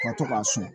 Ka to k'a susu